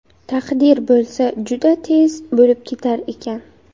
Taqdir bo‘lsa, juda tez bo‘lib ketar ekan.